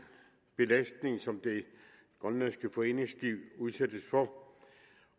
belastning som det grønlandske foreningsliv udsættes for